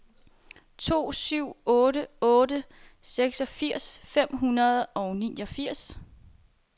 to syv otte otte seksogfirs fem hundrede og niogfirs